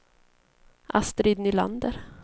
Astrid Nylander